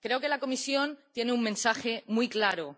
Creo que la Comisión tiene un mensaje muy claro.